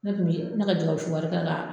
Ne kun bɛ ne ka jɛgɛwusu wari kɛ ka